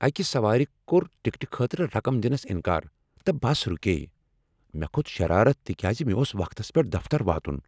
اکِہ سوارِ کوٚر ٹکٹہٕ خٲطرٕ رقم دِنس انکار، تہٕ بس رُکییہ۔ مےٚ کھوٚت شرارت تکیاز مےٚ اوس وقتس پیٹھ دفتر واتن۔